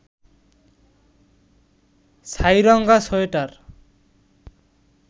ছাইরঙা sweater